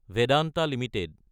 Vedanta Ltd